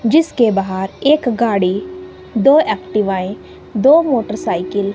जिसके बाहर एक गाड़ी दो एक्टिवा दो मोटरसाइकिल --